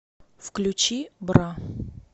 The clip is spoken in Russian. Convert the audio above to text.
включи бра